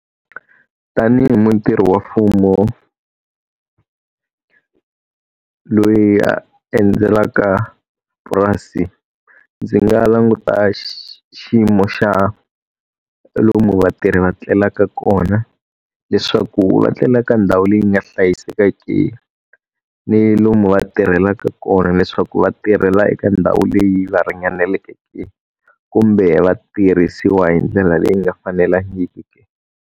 Tanihi mutirhi wa mfumo loyi a endzelaka purasi, ndzi nga languta xiyimo xa lomu vatirhi va etlelaka kona leswaku va etlelaka ndhawu leyi nga hlayiseka ke? Ni lomu va tirhelaka kona leswaku va tirhela eka ndhawu leyi va ringaneleke kumbe va tirhisiwa hi ndlela leyi nga fanelangiki.